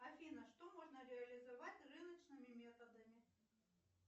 афина что можно реализовать рыночными методами